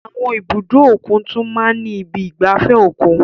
Àwọn ibùdó òkun tún máa ń ní ibi ìgbafẹ́ òkun.